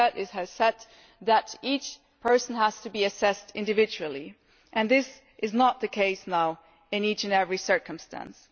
It has said that each person has to be assessed individually, and this is not now the case in each and every circumstance.